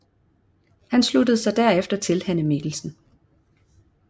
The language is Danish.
Han sluttede sig derefter til Hanne Mikkelsen